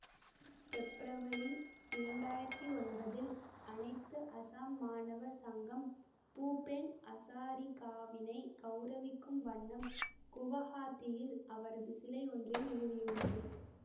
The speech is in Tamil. பெப்ரவரி இரண்டு ஆயிரத்தி ஒன்பதில் அனைத்து அசாம் மாணவர் சங்கம் பூபேன் அசாரிகாவினை கௌரவிக்கும் வண்ணம் குவஹாத்தியில் அவரது சிலை ஒன்றை நிறுவியுள்ளது